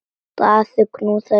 Daði knúði dyra.